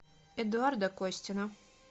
эдуарда костина